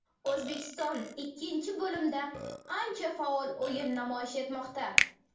O‘zbekiston ikkinchi bo‘limda ancha faol o‘yin namoyish etmoqda.